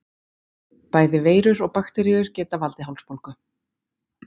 bæði veirur og bakteríur geta valdið hálsbólgu